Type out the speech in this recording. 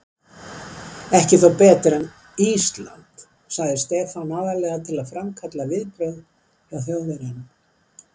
Ekki þó betra en Ísland? sagði Stefán, aðallega til að framkalla viðbrögð hjá Þjóðverjanum.